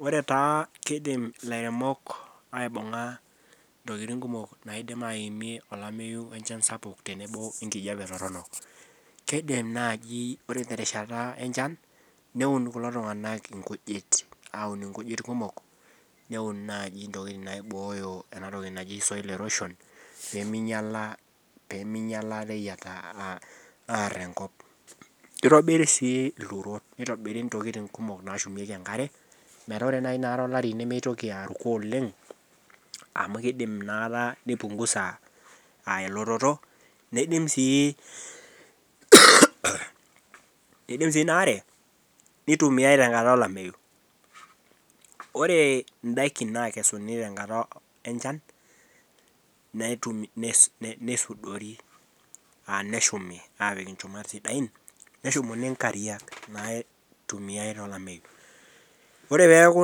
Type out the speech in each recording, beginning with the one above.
Ore taa kidim lairemok aibunga ntokitin naidim aimir olameyu sapuk tenebo enkijape toronok kidim naji ore terishata enchan neun kulo tunganak inkujit aun nkujit kumok neun nai ntokitin naji soil erosion pemeinyal enkop kitobiri si ilturot nitobiri ntokitin kumok nashum enkare amu kidim nipungusa elototo nidim si enaare nitumiae tenkata eunore neshumuni nkariak naitumia tolameyu ore peaku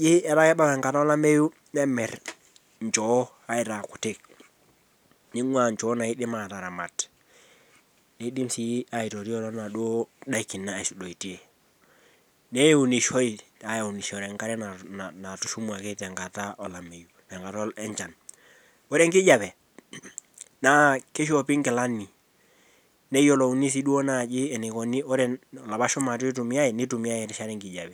kebaya nkata olameyu nemir nchoo aitaa kutik ningua nchoo naidim ataramat nidim aitotio tonaduo dakin natushumutuo neunishoi tenkata enchan ore enkijape na kishopi nkilani neyiolouni enikuni erishata enkijape